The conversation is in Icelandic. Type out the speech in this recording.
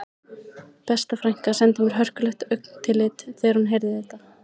Besta frænka sendi mér hörkulegt augnatillit þegar hún heyrði þetta